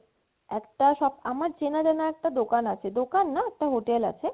একটা shop আমার চেনা জানা একটা দোকান আছে দোকাননা একটা hotel আছে